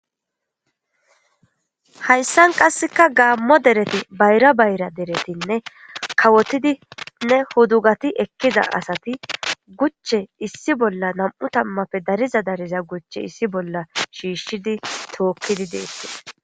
Hayssan qassika Gaammo dereti bayra bayra deretine kawotidine hudugati ekkida asati guche issi bolla nam'u tammappe dariza dariza gucheta issi bolla shiishidi tookidi dettees.